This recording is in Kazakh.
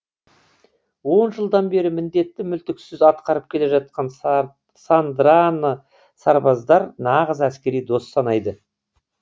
он жылдан бері міндетті мүлтіксіз атқарып келе жатқан сандраны сарбаздар нағыз әскери дос санайды